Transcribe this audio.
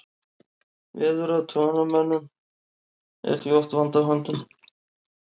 Veðurathugunarmönnum er því oft vandi á höndum.